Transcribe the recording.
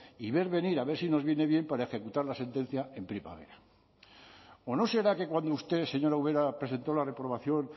y ver venir a ver si nos viene bien para ejecutar la sentencia en primavera o no será que cuando usted señora ubera presentó la reprobación